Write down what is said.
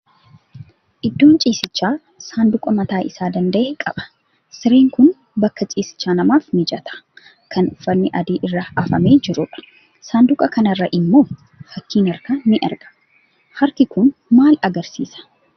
Iddoon ciisichaa sanduuqa mataa isaa danda'e qaba. Sireen kun bakka ciisichaa namaaf mijataa, kan uffatni adiin irra afamee jiru dha. Sanduuqa kana irra immoo fakkiin harkaa ni argama. Harki kun maal agarsiisa?